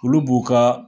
Olu b'u ka